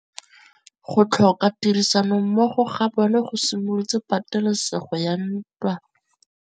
Go tlhoka tirsanommogo ga bone go simolotse patêlêsêgô ya ntwa.